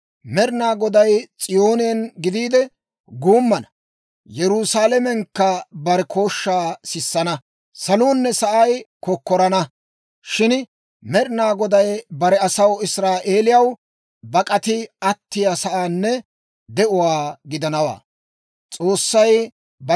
Med'inaa Goday S'iyoonen gidiide guummana; Yerusaalamenkka bare kooshshaa sissana; saluunne sa'ay kokkorana. Shin Med'inaa Goday bare asaw Israa'eelaw bak'ati attiyaa sa'aanne de'uwaa gidanawaa.